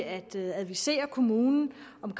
at advisere kommunen om